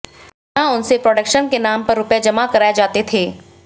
यहां उनसे प्रोडक्शन के नाम पर रुपये जमा कराए जाते थे